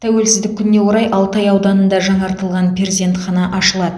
тәуелсіздік күніне орай алтай ауданында жаңартылған перзентхана ашылады